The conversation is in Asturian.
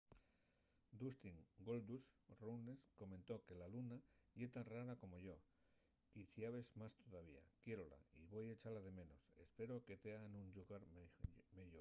dustin goldust” runnels comentó que luna ye tan rara como yo... quiciabes más tovía... quiérola y voi echala de menos... espero que tea nun llugar meyor.